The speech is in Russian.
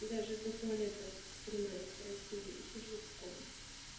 даже к туалету стремаюсь пройти и сижу в комнате